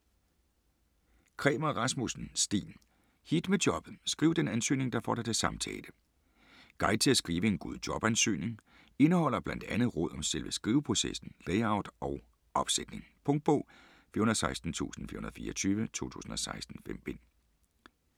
Kræmer Rasmusssen, Steen: Hit med jobbet: skriv den ansøgning, der får dig til samtale Guide til at skrive en god jobansøgning. Indeholder blandt andet råd om selve skriveprocessen, layout og opsætning. Punktbog 416424 2016. 5 bind.